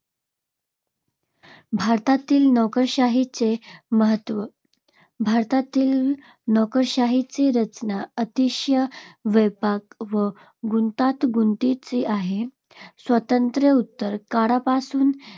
भारतातील नोकरशाहीचे महत्त्व. भारतातील नोकरशाहीची रचना अतिशय व्यापक व गुंतागुंतीची आहे. स्वातंत्र्योत्तर काळापासून